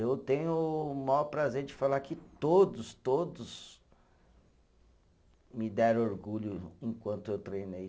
Eu tenho o maior prazer de falar que todos, todos me deram orgulho enquanto eu treinei.